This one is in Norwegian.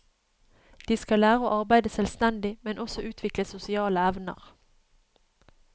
De skal lære å arbeide selvstendig, men også utvikle sosiale evner.